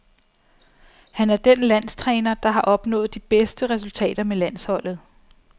Han er den landstræner, der var opnået de bedste resultater med landsholdet.